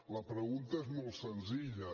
la pregunta és molt senzilla